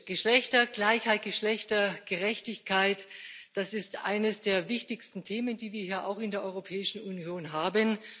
Geschlechtergleichheit, Geschlechtergerechtigkeit, das ist eines der wichtigsten Themen, die wir hier in der Europäischen Union haben.